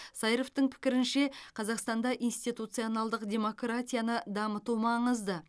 сайыровтың пікірінше қазақстанда институционалдық демократияны дамыту маңызды